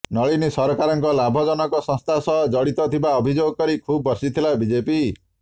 ନଳିନୀ ସରକାରଙ୍କ ଲାଭଜନକ ସଂସ୍ଥା ସହ ଜଡିତ ଥିବା ଅଭିଯୋଗ କରି ଖୁବ୍ ବର୍ଷିଥିଲା ବିଜେପି